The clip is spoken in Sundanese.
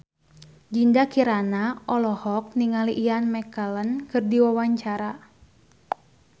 Dinda Kirana olohok ningali Ian McKellen keur diwawancara